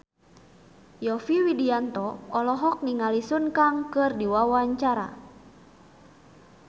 Yovie Widianto olohok ningali Sun Kang keur diwawancara